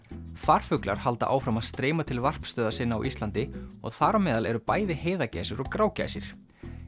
farfuglar halda áfram að streyma til varpstöðva sinna á Íslandi og þar á meðal eru bæði heiðagæsir og grágæsir